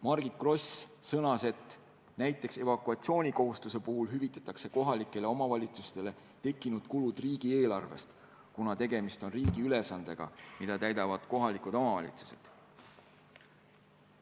Margit Gross sõnas, et näiteks evakuatsioonikohustuse puhul hüvitatakse kohalikele omavalitsustele tekkinud kulud riigieelarvest, kuna tegemist on riigi ülesandega, mida täidavad kohalikud omavalitsused.